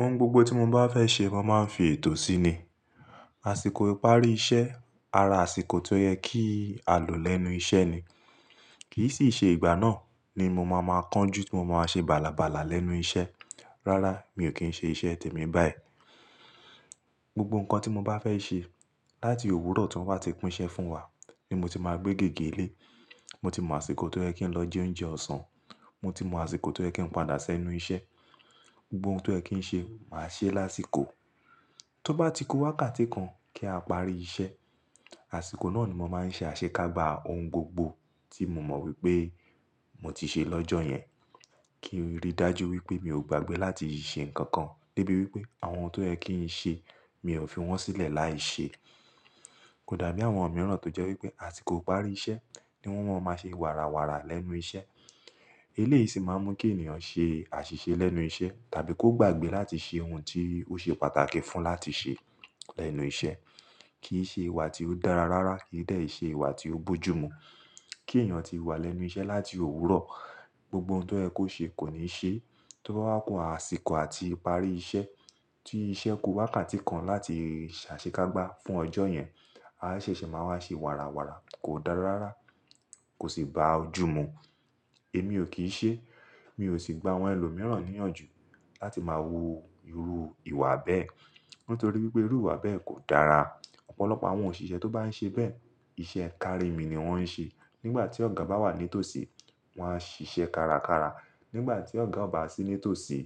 Ohun gbogbo tí mo bá fẹ́ ṣe mo máa ń fi ètò sí ni. Àsìkò ìparí iṣẹ́ ara àsìkò tó yẹ kí a lò lẹ́nu iṣẹ́ ni. Kì í sì ṣe ìgbà náà ni mo máa máa kánjú tí mo máa ṣe bàlàbàlà lẹ́nu iṣẹ́. Rárá, mi ò kí ń ṣe iṣẹ́ tèmi báyìí. Gbogbo nǹkan tí mo bá fẹ́ ṣe láti òwúrọ̀ tí wọn bá ti pín iṣẹ́ fún wa ni mo ti máa gbé gègé lé. Mo ti mọ àsìkò tó yẹ kí n lọ jẹ oúnjẹ ọ̀sán, mo ti mọ àsìkò tó yẹ kí n padà sẹ́nu iṣẹ́. Gbogbo ohun tó yẹ kí ń ṣe, màá ṣe lásìkò. Tó bá ti ku wákàtí kan kí a parí iṣẹ́, àsìkò náà ni mo máa ń ṣe àṣekágbá ohun gbogbo tí mo mọ̀ wípé mo ti ṣe lọ́jọ́ yẹn kí n rí dájú wípé mi ò gbàgbé láti ṣe nǹkan kan debi wípé àwọn ohun tó yẹ kí ń ṣe mi ò fi wọ́n sílẹ̀ láì ṣe. Kò dàbí àwọn mìíràn tó jẹ́ wípé àsìkò ìparí iṣẹ́ ni wọ́n máa ń ṣe wàràwàrà lẹ́nu iṣẹ́. Eléyìí sì máa ń mú kí ènìyàn ṣe àṣìṣe lẹ́nu iṣẹ́ tàbí kó gbàgbé láti ṣe ohun tí ó ṣe pàtàkì fún láti ṣe lẹ́nu iṣẹ́. Kì í ṣe ìwà tí ó dára rárá, kì í dẹ́ ṣe ìwà tí ó bojúmu. Kí ènìyàn ti wà lẹ́nu iṣẹ́ láti òwúrọ̀, gbogbo ohun tó yẹ kó ṣe kò ní ṣe. Tó bá wá ku àsìkò àti ìparí iṣẹ́ tí iṣẹ́ ku wákàtí kan láti ṣàṣekágbá fún ọjọ́ yẹn, a ṣẹ̀ṣẹ̀ máa wá ṣe wàràwàrà. Kò dára rárá, kò sì bá ojú mu. Èmi ò kí ń ṣe, mi ò sì gba àwọn ẹlòmíràn níyànjú láti máa wu irú ìwà bẹ́ẹ̀ nítorí wípé irú ìwà bẹ́ẹ̀ kò dára. Ọ̀pọ̀lọpọ̀ àwọn òṣìṣẹ́ tó bá ń ṣe bẹ́ẹ̀, iṣẹ́ kárí mi ni wọ́n ń ṣe. Nígbà tí ọ̀gá bá wà nítòsí, wọn a ṣíṣe kárakára. Nígbà tí ọ̀gá o ba sí nítòsí,